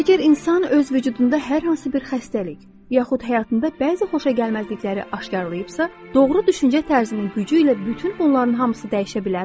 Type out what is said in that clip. Əgər insan öz vücudunda hər hansı bir xəstəlik, yaxud həyatında bəzi xoşagəlməzlikləri aşkarlayıbsa, doğru düşüncə tərzinin gücü ilə bütün bunların hamısı dəyişə bilərmi?